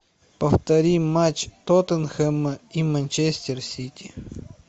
повтори матч тоттенхэма и манчестер сити